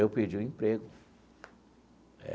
Eu perdi o emprego.